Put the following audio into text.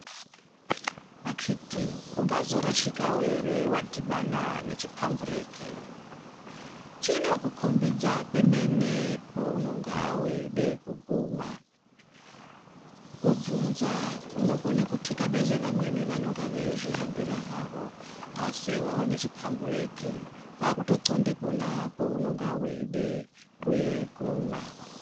Akiti ungazorashikawo ere wadhibana nechipambureki, chinokukombidza pemene peunonga weide kuguma, kubvunza kunokone kutekabeze vamweni vanenge veizvihambira havo asi waona chipambureki kwakutoqonde ponapo paunenge weide kuguma.